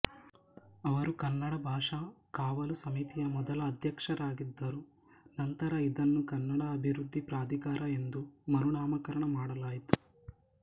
ಅವರು ಕನ್ನಡ ಭಾಷಾ ಕಾವಲು ಸಮಿತಿಯ ಮೊದಲ ಅಧ್ಯಕ್ಷರಾಗಿದ್ದರು ನಂತರ ಇದನ್ನು ಕನ್ನಡ ಅಭಿವೃದ್ಧಿ ಪ್ರಾಧಿಕಾರ ಎಂದು ಮರುನಾಮಕರಣ ಮಾಡಲಾಯಿತು